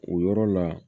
O yɔrɔ la